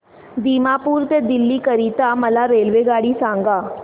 दिमापूर ते दिल्ली करीता मला रेल्वेगाडी सांगा